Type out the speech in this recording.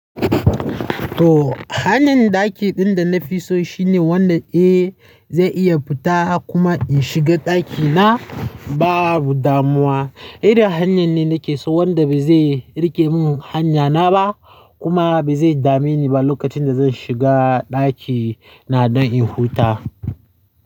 To, hanan ɗaki ɗin da na fi so shine wanda eh zai iya futa kuma in shiga ɗakina babu damuwa. Idan hanyan ne nake so wanda ba zai rike min hanya na ba kuma ba zai dame ni ba lokacin da zan shiga ɗakina don in huta.